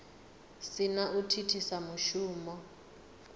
si na u thithisa mushumo